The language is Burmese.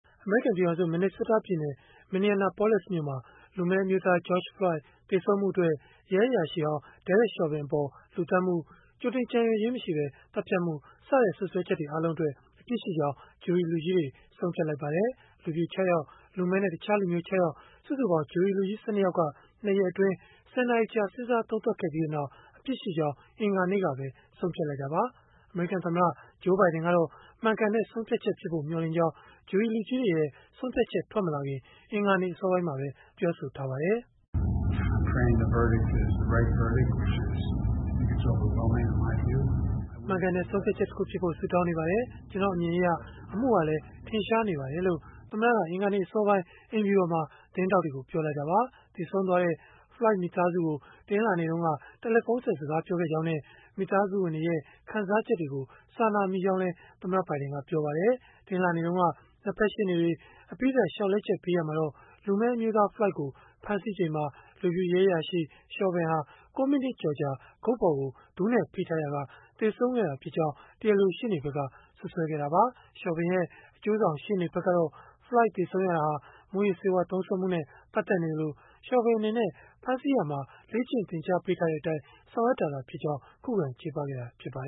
အမေရိကန် ပြည်ထောင်စု Minnesota ပြည်နယ်၊ Minneapolis မြို့မှာ လူမည်းအမျိုးသား George Floyd သေဆုံးမှုအတွက် ရဲအရာရှိဟောင်း Derek Chauvin အပေါ် လူသတ်မှု၊ ကြိုတင်ကြံရွယ်ခြင်းမရှိပဲ သတ်ဖြတ်မှုစတဲ့ စွပ်စွဲချက်တွေ အားလုံးအတွက် အပြစ်ရှိကြောင်း ဂျုရီလူကြီးတွေ ဆုံးဖြတ်လိုက်ပါတယ်။ လူဖြူ ၆ ယောက်၊ လူမည်းနဲ့ တခြားလူမျိုး ၆ ယောက် စုစုပေါင်း ဂျုရီလူကြီး ၁၂ ယောက်က ၂ ရက်အတွင်း ၁၀ နာရီကြာ စဉ်းစားသုံးသပ်ခဲ့ပြီးနောက် အပြစ်ရှိကြောင်း အင်္ဂါနေ့ကပဲ ဆုံးဖြတ်လိုက်တာပါ။ အမေရိကန်သမ္မတ Joe Biden ကတော့ မှန်ကန်တဲ့ ဆုံးဖြတ်ချက်ဖြစ်ဖို့ မျှော်လင့်ကြောင်း ဂျုရီလူကြီးတွေရဲ့ ဆုံးဖြတ်ချက် ထွက်မလာခင် အင်္ဂါနေ့အစောပိုင်းမှာပဲ ပြောဆိုခဲ့ပါတယ်။ “မှန်ကန်တဲ့ ဆုံးဖြတ်ချက်တခုဖြစ်ဖို့ ဆုတောင်းနေပါတယ်။ ကျနော့်အမြင်အရ အမှုဟာလည်း ထင်ရှားနေပါတယ်။” လို့ သမ္မတက အင်္ဂါနေ့ အစောပိုင်းက အိမ်ဖြူတော်မှာ သတင်းထောက်တွေကို ပြောလိုက်တာပါ။ သေဆုံးသွားတဲ့ Floyd မိသားစုကို တနင်္လာနေ့က တယ်လီဖုန်းဆက် စကားပြောခဲ့ကြောင်းနဲ့ မိသားစုဝင်တွေရဲ့ ခံစားချက်တွေကို စာနာမိကြောင်းလည်း သမ္မတ Biden ကပြောပါတယ်။ တနင်္လာနေ့တုန်းက ၂ ဖက်ရှေ့နေတွေ အပြီးသတ် လျှောက်လဲချက်ပေးရာမှာတော့ လူမည်းအမျိုးသား Floyd ကို ဖမ်းဆီးချိန်မှာ လူဖြူရဲအရာရှိ Chauvin ဟာ ၉ မိနစ်ကျော်ကြာ ဂုတ်ပေါ်ကို ဒူးနဲ့ဖိထားရာက သေဆုံးခဲ့တာဖြစ်ကြောင်း တရားလိုရှေ့နေဖက်က စွပ်စွဲခဲ့တာပါ။ Chauvin ရဲ့ အကျိုးဆောင်ရှေ့နေဖက်ကတော့ Floyd သေဆုံးရတာဟာ မူးယစ်ဆေးဝါး သုံးစွဲမှုနဲ့ ပတ်သက်နေသလို၊ Chauvin အနေနဲ့ ဖမ်းဆီးရာမှာ လေ့ကျင့်သင်ကြားပေးထားတဲ့အတိုင်း ဆောင်ရွက်ခဲ့တာသာဖြစ်ကြောင်း ခုခံချေပခဲ့တာ ဖြစ်ပါ